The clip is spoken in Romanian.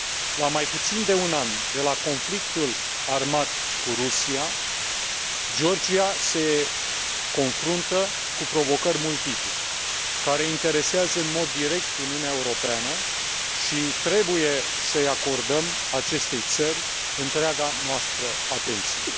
La mai puțin de un an de la conflictul armat cu Rusia, Georgia se confruntă cu provocări multiple care interesează în mod direct Uniunea Europeană și trebuie să i acordăm acestei țări întreaga noastră atenție.